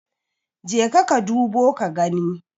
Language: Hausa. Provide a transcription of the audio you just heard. jeka ka dubo ka gani?